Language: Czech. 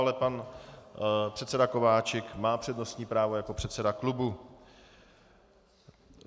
Ale pan předseda Kováčik má přednostní právo jako předseda klubu.